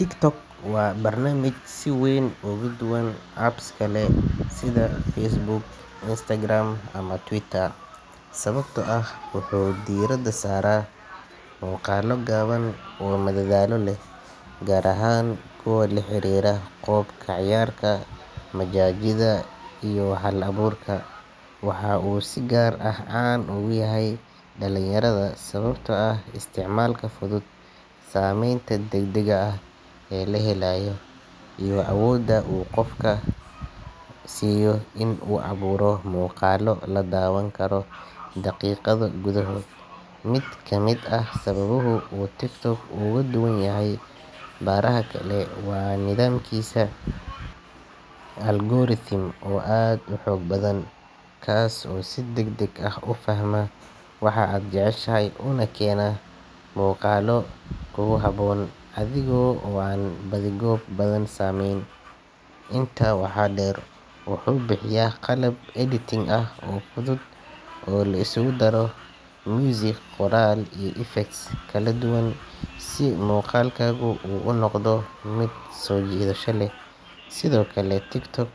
TikTok waa barnaamij si weyn uga duwan apps kale sida Facebook, Instagram, ama Twitter, sababtoo ah wuxuu diiradda saaraa muuqaallo gaaban oo madadaalo leh, gaar ahaan kuwa la xiriira qoob-ka-ciyaarka, majaajilada, iyo hal-abuurka. Waxa uu si gaar ah caan ugu yahay dhalinyarada sababtoo ah isticmaalka fudud, saamaynta degdega ah ee la helayo, iyo awoodda uu qof kasta u siiyo in uu abuuro muuqaallo la daawan karo daqiiqado gudahood. Mid ka mid ah sababaha uu TikTok uga duwan yahay baraha kale waa nidaamkiisa algorithm oo aad u xoog badan, kaas oo si degdeg ah u fahma waxa aad jeceshahay una keena muuqaallo kugu habboon adigoo aan baadi-goob badan samayn. Intaa waxaa dheer, wuxuu bixiyaa qalab editing ah oo fudud oo la isugu dari karo muusig, qoraal, iyo effects kala duwan si muuqaalkaagu u noqdo mid soo jiidasho leh. Sidoo kale, TikTok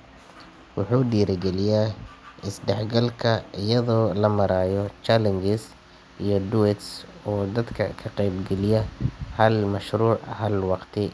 wuxuu dhiirrigeliyaa is-dhexgalka iyada oo loo marayo challenges iyo duets oo dadka ka qeyb geliya hal mashruuc hal waqti.